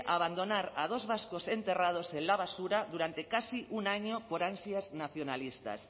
abandonar a dos vascos enterrados en la basura durante casi un año por ansias nacionalistas